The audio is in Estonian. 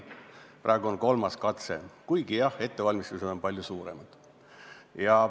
Praegu on kolmas katse, kuigi, jah, ettevalmistused on palju suuremad.